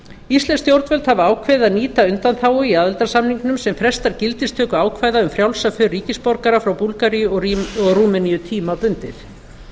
íslensk stjórnvöld hafa ákveðið að nýta undanþágu í aðildarsamningnum sem frestar gildistöku ákvæða um frjálsa för ríkisborgara frá búlgaríu og rúmeníu tímabundið